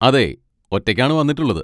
അതെ, ഒറ്റയ്ക്കാണ് വന്നിട്ടുള്ളത്.